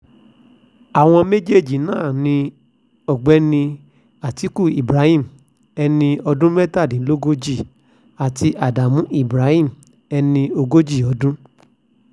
àwọn méjèèjì náà ni ọ̀gbẹ́ni àtikukú ibrahim ẹni ọdún mẹ́tàdínlógójì àti ádámù ibrahim ẹni ogójì ọdún